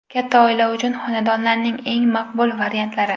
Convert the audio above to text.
Katta oila uchun xonadonlarning eng maqbul variantlari.